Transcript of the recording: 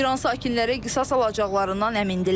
İran sakinləri qisas alacaqlarından əmindirlər.